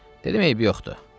Dedim eybi yoxdur.